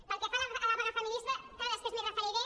pel que fa a la vaga feminista després m’hi referiré